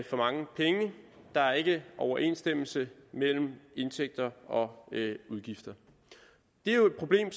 for mange penge der er ikke overensstemmelse mellem indtægter og udgifter det er jo et problem